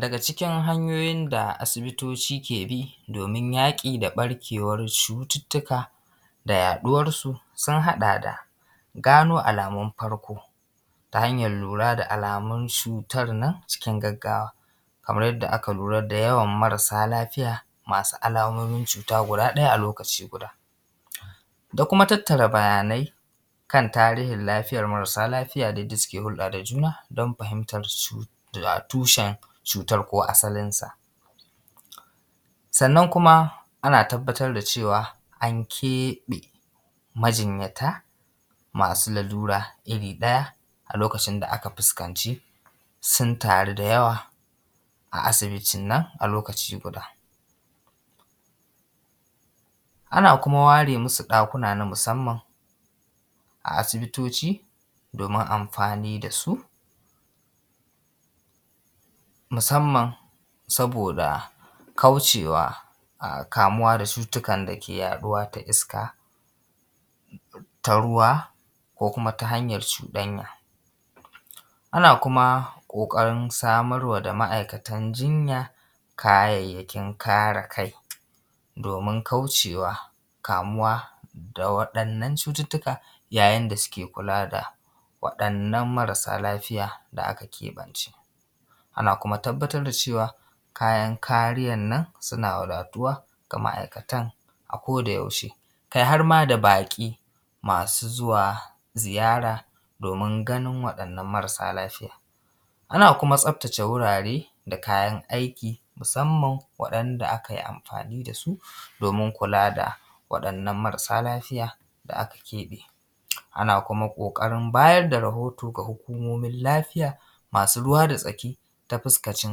Daga cikin hanyoyin da asibiti kee bi doomin jaƙi da ɓarkeewar cututtuka da yaɗuwarsu sun haɗa da gano alamun farko ta hanyar lura da alamun cuutar nan cikin gaggawa, kamar yadda aka lura da yawan marasa lafiya masu alamomin cuuta guda ɗaya a lokaci guda. Da kuma tattara bayanai kan tarihin lafiyar marasa lafiya da dai suke hulɗaa da juna don fahimtarsu da tushen cuutar ko asalinsa. Sannan kuma ana tabbatar da ce:wa an keeɓe majinyata masu lalura iri ɗaya a lokacin da aka fuskanci sun taru da yawa a asibitin nan a lokaci guda Ana kuma ware masu ɗakuna na musamman a asibitoci doomin amfani da su musamman sabooda kaucewa kamuwa da cututtukan da kee yaɗuwa da iska ta ruwa ko kuma ta hanjar cuɗanya. Ana kuma ƙooƙarin samar wa da ma'aikatan jinya kayayyakin kare kai doomin kaucewa kamuwa da waɗannan cututtuka yayin da suke kulaa da waɗannan marasa lafiya da aka keɓance. Ana kuma tabbatar da cewa kayan kariyan nan sunaa wadatuwa ga ma'aikatan a ko da yaushe kai har maa baƙi masu zuwa ziyaara doomin ganin waɗannan marasaa lafiya. Ana kuma tsaftace wuraare da kayan aiki, musamman waɗanda aka yi amfaani da su doomin kulaa da waɗannan marasa lafiya da aka keɓe. Ana kuma ƙooƙarin bayar da rahoto ga hukumomin lafiya masu ruwa da tsaki ta fuskanci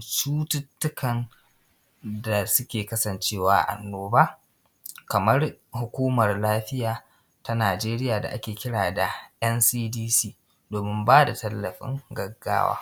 cututtukan da suke kasancewa annooba kamar hukumar lafiya ta Nigeria da ake kira da ncdc doomin baa da tallafin gaggawa.